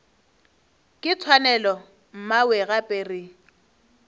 ke tshwanelo mmawe gape re